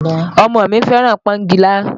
Ọmọ mi fẹ́ràn pọ́ngilá